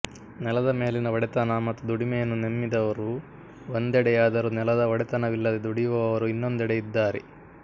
ನೆಲದ ಮೇಲಿನ ಒಡೆತನ ಮತ್ತು ದುಡಿಮೆಯನ್ನು ನೆಮ್ಮಿದವರು ಒಂದೆಡೆಯಾದರೆ ನೆಲದ ಒಡೆತನವಿಲ್ಲದೆ ದುಡಿಯುವವರು ಇನ್ನೊಂದೆಡೆ ಇದ್ದಾರೆ